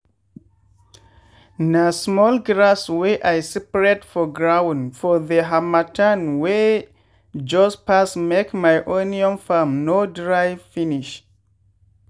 na small grass wey i spread for ground for the harmattan wey just pass make my onion farm no dry finish.